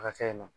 A ka kɛ na